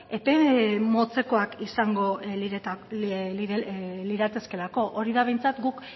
epe motzekoak izango liratezkeelako hori da behintzat guk